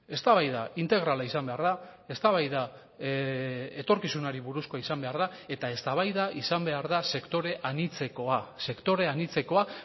eztabaida integrala izan behar da eztabaida etorkizunari buruzkoa izan behar da eta eztabaida izan behar da sektore anitzekoa sektore anitzekoa